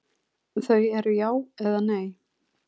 Þau eru já eða nei.